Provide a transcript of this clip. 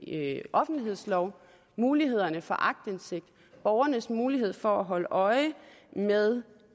offentlighedslov mulighederne for aktindsigt borgernes mulighed for at holde øje med